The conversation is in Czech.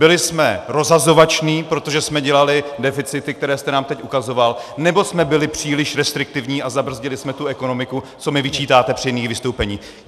Byli jsme rozhazovační, protože jsme dělali deficity, které jste nám teď ukazoval, nebo jsme byli příliš restriktivní a zabrzdili jsme tu ekonomiku, co mi vyčítáte při jiných vystoupeních?